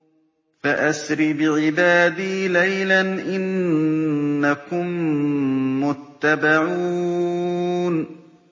فَأَسْرِ بِعِبَادِي لَيْلًا إِنَّكُم مُّتَّبَعُونَ